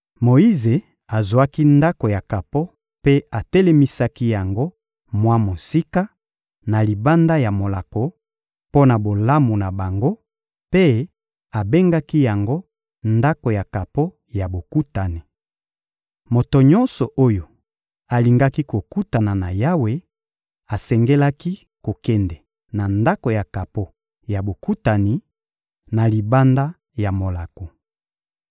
Moyize azwaki ndako ya kapo mpe atelemisaki yango mwa mosika, na libanda ya molako, mpo na bolamu na bango; mpe abengaki yango Ndako ya kapo ya Bokutani. Moto nyonso oyo alingaki kokutana na Yawe, asengelaki kokende na Ndako ya kapo ya Bokutani, na libanda ya molako.